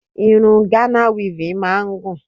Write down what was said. Irun Ghana weaving máa ń gùn